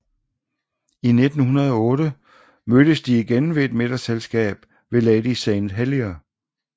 I 1908 mødtes de igen ved et middagsselskab ved lady St Helier